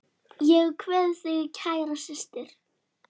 Ég kveð þig kæra systir.